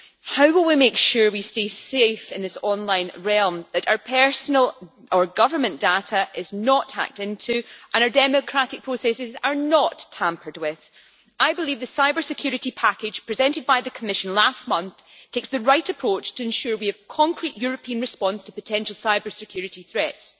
However we make sure we stay safe in this online realm, and that our personal or government data is not hacked into and our democratic processes are not tampered with, I believe the cybersecurity package presented by the Commission last month takes the right approach to ensure we have a concrete European response to potential cybersecurity threats.